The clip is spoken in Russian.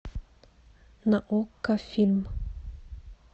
на окко фильм